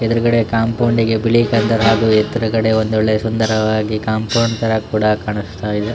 ಎದುರುಗಡೆ ಕಾಂಪೌಂಡ್ ಗೆ ಬಿಳಿ ಕಲರ್ ಹಾಗು ಎದುರುಗಡೆ ಒಂದು ಒಳ್ಳೆ ಸುಂದರವಾಗಿ ಕಾಂಪೌಂಡ್ ತರ ಕೂಡ ಕಾಣಿಸ್ತಾ ಇದೆ .